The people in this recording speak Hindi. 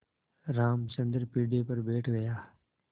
रामचंद्र पीढ़े पर बैठ गया